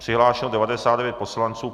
Přihlášeno 99 poslanců.